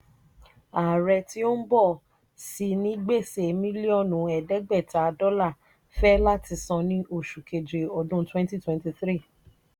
ààrẹ tí ó ń bọ̀ sì ní gbèsè mílíọ̀nù ẹ̀ẹ́dẹ́gbẹ́ta dọ́là fẹ́ láti san ní oṣù keje ọdún twenty twenty three